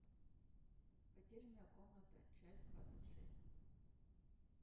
потерянная комната часть двадцать шесть